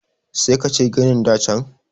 sai ka ce ginin da can